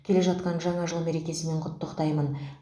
келе жатқан жаңа жыл мерекесімен құттықтаймын